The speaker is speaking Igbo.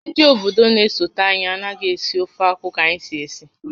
Ndị obodo na-esote anyị anaghị esi ofeakwụ ka anyị si esi